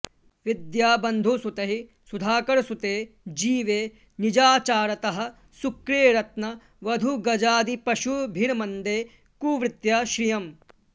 विद्याबन्धुसुतैः सुधाकरसुते जीवे निजाचारतः शुक्रे रत्नवधूगजादिपशुभिर्मन्दे कुवृत्त्या श्रियम्